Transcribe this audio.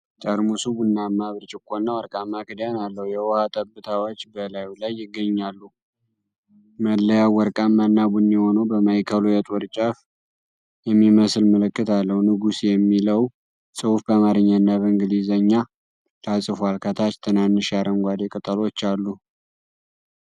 ጠርሙሱ ቡናማ ብርጭቆና ወርቃማ ክዳን አለው፤ የውሃ ጠብታዎች በላዩ ላይ ይገኛሉ። መለያው ወርቃማና ቡኒ ሆኖ በማዕከሉ የጦር ጫፍ የሚመስል ምልክት አለው። "ንጉስ" የሚለው ጽሑፍ በአማርኛና በእንግሊዝኛ ተጽፏል፤ ከታች ትናንሽ የአረንጓዴ ቅጠሎች አሉ።